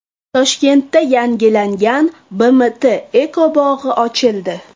Toshkentda yangilangan BMT ekobog‘i ochildi.